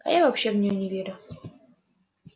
а я вообще в нее не верю